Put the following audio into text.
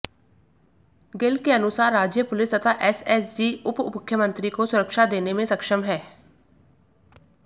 गिल के अनुसार राज्य पुलिस तथा एसएसजी उप मुख्यमंत्री को सुरक्षा देने में सक्षम हैं